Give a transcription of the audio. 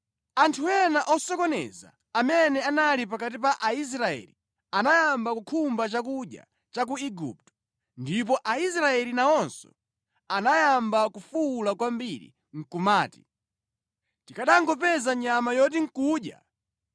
Anthu ena osokoneza amene anali pakati pa Aisraeli anayamba kukhumba chakudya cha ku Igupto ndipo Aisraeli nawonso anayamba kufuwula kwambiri nʼkumati, “Tikanangopeza nyama yoti nʼkudya!